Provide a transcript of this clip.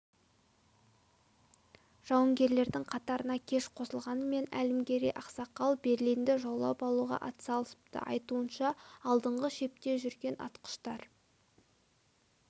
жауынгерлердің қатарына кеш қосылғанмен әлімгерей ақсақал берлинді жаулап алуға атсалысыпты айтуынша алдыңғы шепте жүрген атқыштар